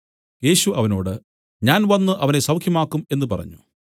യേശു അവനോട് ഞാൻ വന്നു അവനെ സൌഖ്യമാക്കും എന്നു പറഞ്ഞു